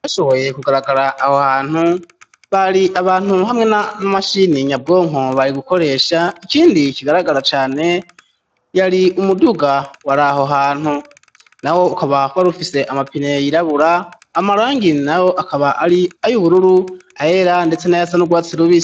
Yashoboye kugaragara aho hantu bari abantu hamwe n'amashini nyabwonko bari gukoresha ikindi ikigaragara cane yari umuduga wari aho hantu na wo ukaba hwara ufise amapine yirabura amarangini na wo akaba ari ayo ubururu ahera, ndetse na yasa n'urwatsi rubia.